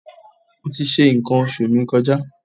Mo ti ṣe nǹkan oṣù mi kọjá.